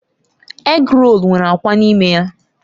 Égrolu nwere akwa n'ime ya.